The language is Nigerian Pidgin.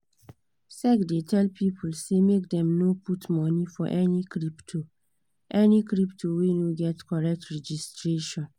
sec dey tell people say make dem no put money for any crypto any crypto wey no get correct registration